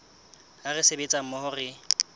ha re sebetsa mmoho re